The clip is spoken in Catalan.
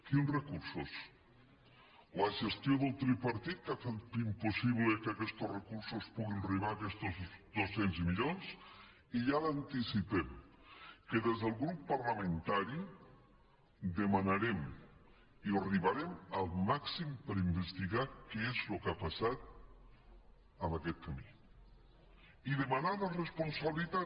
quins recursos la gestió del tripartit que ha fet impossible que aquestos recursos puguin arribar aquestos dos cents milions i ja li anticipem que des del grup parlamentari demanarem i arribarem al màxim per investigar què és el que ha passat en aquest camí i demanar la responsabilitat